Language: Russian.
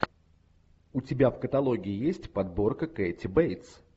у тебя в каталоге есть подборка кэти бейтс